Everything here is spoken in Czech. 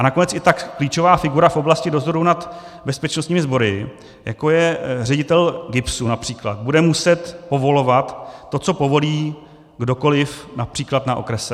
A nakonec i tak klíčová figura v oblasti dozoru nad bezpečnostními sbory, jako je ředitel GIBSu například, bude muset povolovat to, co povolí kdokoliv například na okrese.